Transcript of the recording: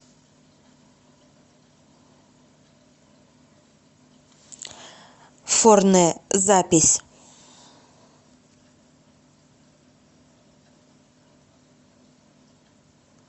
форне запись